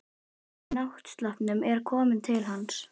Maðurinn í náttsloppnum er kominn til hans.